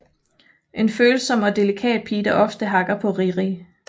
En følsom og delikat pige der ofte hakker på Riri